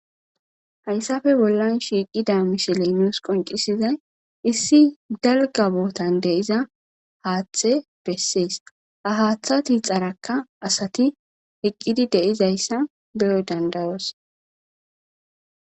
Haysafe bollan shiqida msiley nusi qoncisiday issi dalga botan de'iza hathe besesi ha hatha tixarakka asati eqide duzaiysa beyo dada'os